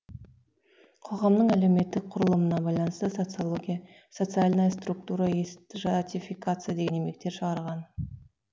қоғамның әлеуметтік құрылымына байланысты социология социальная структура и стратификация деген еңбектер шығарған